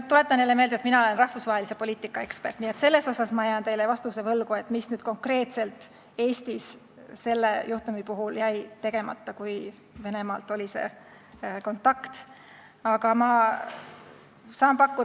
Ma tuletan jälle meelde, et mina olen rahvusvahelise poliitika ekspert, nii et selles asjas, mis konkreetselt Eestis selle juhtumi puhul tegemata jäi, kui Venemaalt tuli see kontaktisoov, jään ma teile vastuse võlgu.